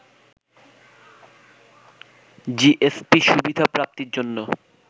GSP সুবিধা প্রাপ্তির জন্য